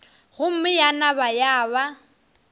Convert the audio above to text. gomme ya nama ya ba